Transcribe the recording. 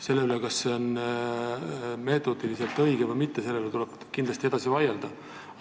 Selle üle, kas see on metoodiliselt õige või mitte, tuleb kindlasti edasi vaielda.